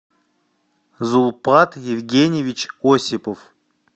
зулпат евгеньевич осипов